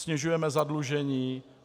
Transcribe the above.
Snižujeme zadlužení.